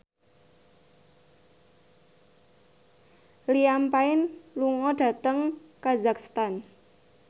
Liam Payne lunga dhateng kazakhstan